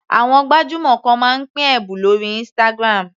Àwọn gbajúmọ̀ kan máa ń pín ẹ̀bùn lórí Instagram.